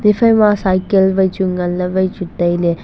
iphaima cycle vai chu nganle vai chu taile.